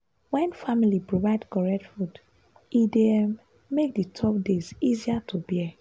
wen family provide correct food e dey um make the tough days easier to bear.